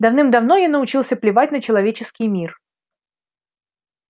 давным-давно я научился плевать на человеческий мир